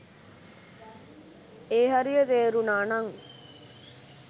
ඒ හරිය තේරුණා නං.